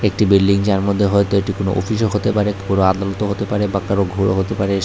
একটি বিল্ডিং যার মধ্যে হয়তো এটি কোন ওফিসও হতে পারে বড় আদালতও হতে পারে বা কারো ঘরও হতে পারে এসা--